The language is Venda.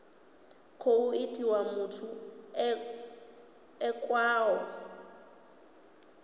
khou itiwa muthu e khaho